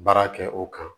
Baara kɛ o kan